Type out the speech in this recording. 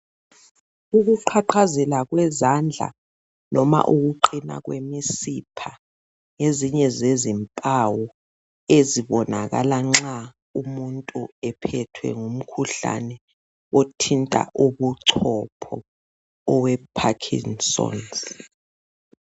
Ukuqhaqhazela kwezandla noma ukuqina kwemisipha ngezinye zezimpawu ezibonakala nxa umuntu ephethwe ngumkhuhlane othinta ubuchopho owe Parkinson's.